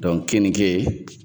kenike